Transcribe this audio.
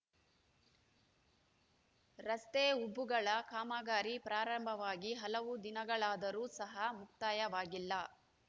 ರಸ್ತೆ ಉಬ್ಬುಗಳ ಕಾಮಗಾರಿ ಪ್ರಾರಂಭವಾಗಿ ಹಲವು ದಿನಗಳಾದರೂ ಸಹ ಮುಕ್ತಾಯವಾಗಿಲ್ಲ